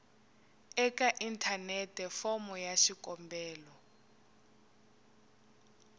eka inthanete fomo ya xikombelo